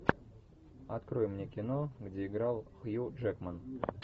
открой мне кино где играл хью джекман